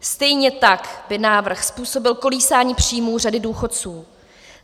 Stejně tak by návrh způsobil kolísání příjmů řady důchodců.